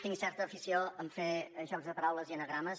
tinc certa afició a fer jocs de paraules i anagrames